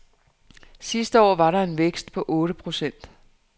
Sidste år var der en vækst på otte procent.